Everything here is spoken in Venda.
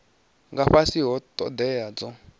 nga fhasi ha thodea dzo